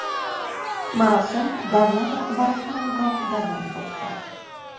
Marosim davlat rahbari qarorgohida bo‘lib o‘tdi.